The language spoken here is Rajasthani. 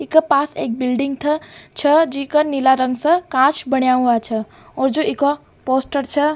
ईका पास एक बिल्डिंग था छ जीका नीला रंग स कांच बणिया हुआ छ और जो ईका पोस्टर छ --